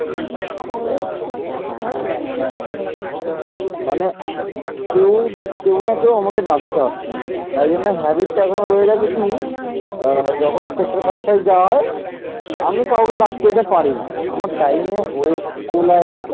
অ্যা যখন sector five five যাওয়া হয় আমি কাউকে ডাকতে যেতে পারি না আমার time ও হয়ে কুলায় না।